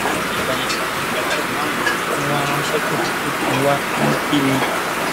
lẹyìn ìgbà yẹn ni bàbá ìmáàmù tún wáá ránṣẹ pè mí pé kí n wá inú bí mi